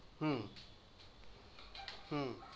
হু, হু